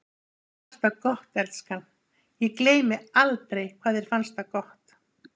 Þér fannst það gott, elskan, ég gleymi aldrei hvað þér fannst það gott.